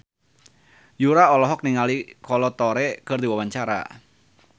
Yura olohok ningali Kolo Taure keur diwawancara